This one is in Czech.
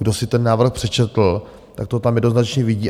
Kdo si ten návrh přečetl, tak to tam jednoznačně vidí.